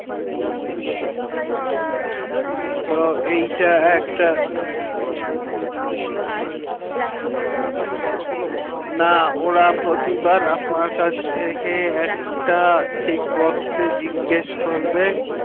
তো এইটা একটা আমি আপনাকে payment করবো আমার আবার আপনি details ভোরবেন না ওরা প্রতিবার আপনার কাছ থেকে একটা checkbox সে জিজ্ঞেস করবে